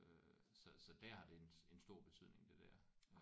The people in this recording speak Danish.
Så så der har det en stor betydning det der